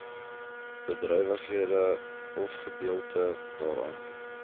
bedrywighede ofgedeelte daarvan